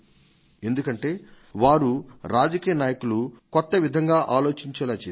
ఎందుకంటే వారు రాజకీయ నాయకులు కొత్తగా ఆలోచించేలా చేశారు